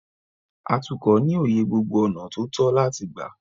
Atukọ̀ ní òye gbogbo ọ̀nà tó tọ́ láti gbà.